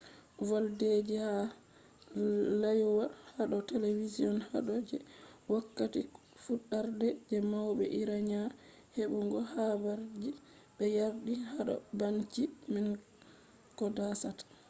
voldeji ha rayuwa hado television hado je wokkati fudarde je maube iranian hebugo habarji be yardi hado babanci man koh dasata